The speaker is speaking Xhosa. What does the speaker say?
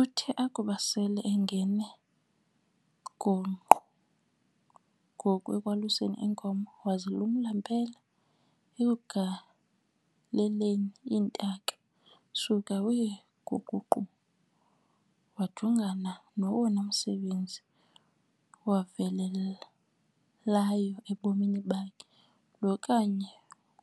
Uthe akuba sel'engene gongqo ngoku ekwaluseni iinkomo, wazilumla mpela ekugaleleni iintaka, suka wee guququ, wajongana nowona msebenzi wavelelayo ebomini bakhe, lo kanye